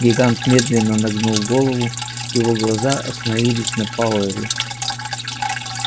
гигант медленно нагнул голову и его глаза остановилась на пауэлле